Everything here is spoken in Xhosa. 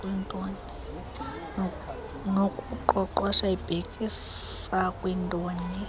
nokuqoqosha ibhekisa kwintoni